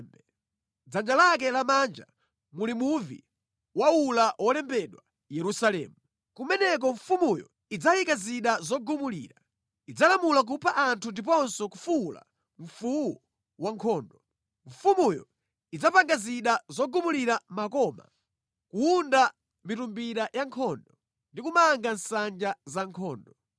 Mʼdzanja lake lamanja muli muvi waula wolembedwa Yerusalemu. Kumeneko mfumuyo idzayika zida zogumulira, idzalamula kupha anthu ndiponso kufuwula mfuwu wa nkhondo. Mfumuyo idzapanga zida zogumulira makoma, kuwunda mitumbira ya nkhondo ndi kumanga nsanja za nkhondo.